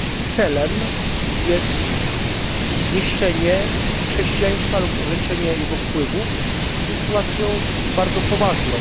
celem jest zniszczenie chrześcijaństwa lub ograniczenie jego wpływów, jest sytuacją bardzo poważną.